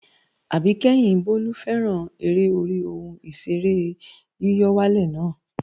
Àbíkẹ́yìn Bólú fẹ́ràn eré orí ohun ìṣeré yíyọ̀wálè na